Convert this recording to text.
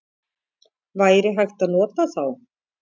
Væri hægt að nota þá?